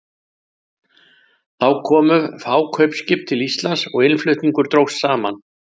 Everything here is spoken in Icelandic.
Þá komu fá kaupskip til Íslands og innflutningur dróst saman.